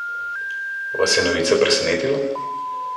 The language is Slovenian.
Vas je novica presenetila?